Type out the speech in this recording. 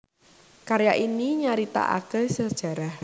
Karya ini nyaritakaké sajarah